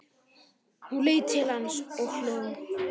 Hún leit til hans og hló.